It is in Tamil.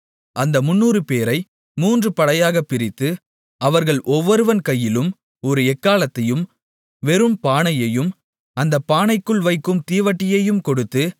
அந்த முந்நூறுபேரை மூன்று படையாக பிரித்து அவர்கள் ஒவ்வொருவன் கையிலும் ஒரு எக்காளத்தையும் வெறும் பானையையும் அந்தப் பானைக்குள் வைக்கும் தீவட்டியையும் கொடுத்து